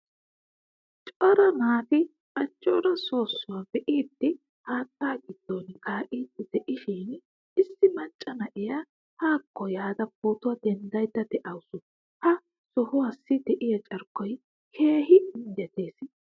Cora naati ajjora soosuwaa biidi haattaa gidon kaidi deishin issi macca na'iyaa haako yaada pootuwaa denddaydda deawusu. Ha sohuwaasi deiya carkkoy keehin injjetees.